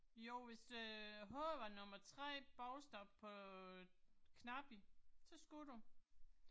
Jo hvis øh h var nummer 3 bogstav på øh knappen, så skulle du